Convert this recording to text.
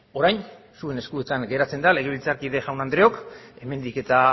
orain zuen eskuetan geratzen da legebiltzarkide jaun andreok hemendik eta